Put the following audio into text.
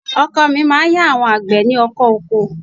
Ọkọ mi máa ń ya àwọn àgbẹ̀ ní ọkọ̀ oko